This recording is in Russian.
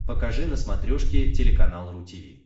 покажи на смотрешке телеканал ру ти ви